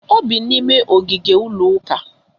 O bi n'ime ogige ụlọuka